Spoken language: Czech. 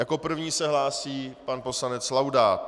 Jako první se hlásí pan poslanec Laudát.